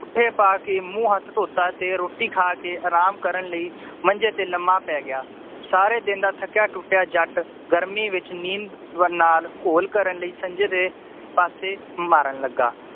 ਪਾ ਕੇ ਮੂੰਹ ਹੱਥ ਧੋਤਾ ਤੇ ਰੋਟੀ ਖਾ ਕੇ ਰਾਮ ਕਰਨ ਲਈ ਮੰਜੇ ਤੇ ਲੰਮਾ ਪੈ ਗਯਾ ਸਾਰੇ ਦਿਨ ਦਾ ਥੱਕਿਆ ਟੁੱਟਿਆ ਜੱਟ ਗਰਮੀ ਵਿਚ ਨੀਂਦਰ ਨਾਲ ਘੋਲ ਕਰਨ ਲਈ ਸੰਜ ਦੇ ਪਾਸੇ ਮਾਰਨ ਲੱਗਾ